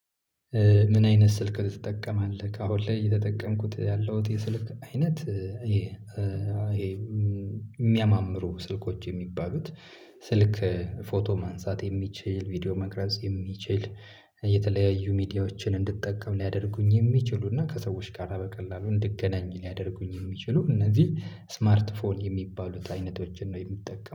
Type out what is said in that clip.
ምን አይነት ስልክ ትጠቀማለህ? ከአሁን ላይ እየተጠቀምኩት ያለሁት የስልክ አይነት። ይሄ ይሄ የሚያማምሩ ስልኮች የሚባሉት ስልክ ፎቶ ማንሳት የሚችል ቪዲዮ መቅራጽ የሚችል። የተለያዩ ሚዲያዎችን እንድትጠቀም ሊያደርጉኝ የሚችሉና ከሰዎች ጋር በቀላሉ እንድገናኝ ልያደርጉኝ የሚችሉ እነዚህ ስማርት ፎን የሚባሉት አይነቶችን ነው የምጠቀመው